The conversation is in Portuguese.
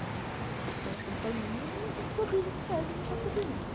Né então, nós estamos fazendo e a gente produz o que pede, a gente vai produzindo.